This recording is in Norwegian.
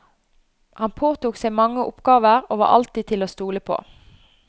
Han påtok seg mange oppgaver og var alltid til å stole på.